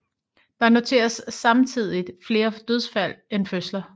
Der noteres samtidigt flere dødsfald end fødsler